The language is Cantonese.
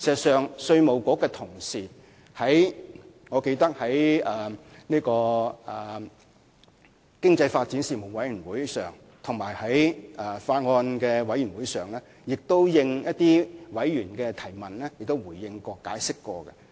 事實上，我記得在經濟發展事務委員會會議和法案委員會會議上，稅務局的同事曾因應議員的提問而作出回應和解釋。